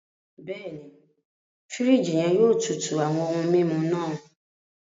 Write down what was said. Bẹẹni, firiji yẹn yóò tútù awọn ohùn mímu náà.